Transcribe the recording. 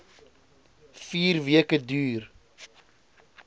vier weke duur